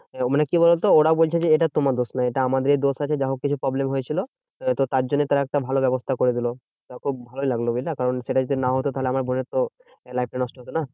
মানে কি বলতো? ওরা বলছে যে, এটা তোমার দোষ নয় এটা আমাদেরই দোষ আছে যা হোক কিছু problem হয়েছিল। তা তো তার জন্য তারা একটা ভালো ব্যবস্থা করে দিলো। তা খুব ভালোই লাগলো বুঝলা? কারণ সেটা যদি না হতো তাহলে আমার বোনের তো life টা নষ্ট হতো না?